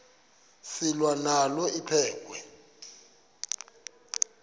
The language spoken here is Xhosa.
selwa nalo liphekhwe